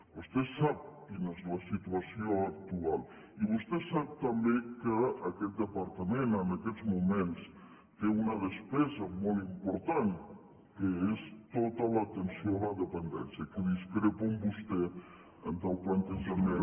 vostè sap quina és la situació actual i vostè sap també que aquest departament en aquests moments té una despesa molt important que és tota l’atenció a la dependència que discrepo de vostè del plantejament